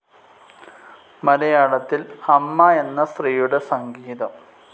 മലയാളത്തിൽ അമ്മ എന്ന സ്ത്രീയുടെ സംഗീതം.